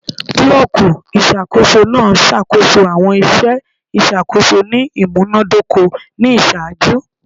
Bulọọki iṣakoso naa ṣakoso awọn iṣẹ iṣakoso ni imunadoko ni iṣaaju